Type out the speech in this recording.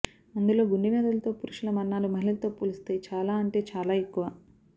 అందులో గుండె వ్యాధులతో పురుషుల మరణాలు మహిళలతో పోలిస్తే చాలా అంటే చాలా ఎక్కువ